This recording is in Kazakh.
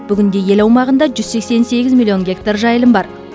бүгінде ел аумағында жүз сексен сегіз миллион гектар жайылым бар